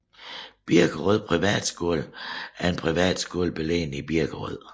Birkerød Privatskole er en privatskole beliggende i Birkerød